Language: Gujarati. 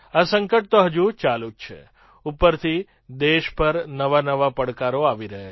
આ સંકટ તો હજુ ચાલુ જ છે ઉપરથી દેશ પર નવાનવા પડકારો આવી રહ્યા છે